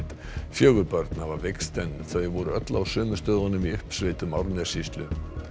fjögur börn hafa veikst en þau voru öll á sömu stöðunum í uppsveitum Árnessýslu